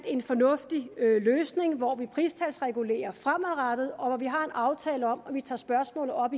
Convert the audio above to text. en fornuftig løsning vi fandt hvor vi pristalsregulerer fremadrettet og hvor vi har en aftale om at vi igen tager spørgsmålet op